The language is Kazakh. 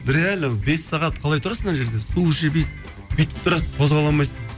реально бес сағат қалай тұрасың ана жерде бүйтіп тұрасың қозғала алмайсың